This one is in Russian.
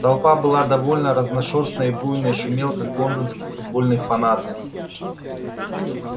толпа была довольно разношёрстной буйной и шумела как лондонские футбольные фанаты